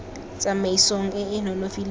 tsamaisong e e nonofileng ya